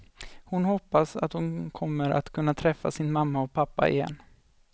Hon hoppas att hon kommer att kunna träffa sin mamma och pappa igen.